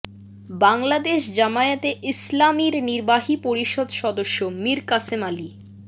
বাংলাদেশ জামায়াতে ইসলামীর নির্বাহী পরিষদ সদস্য মীর কাসেম আলী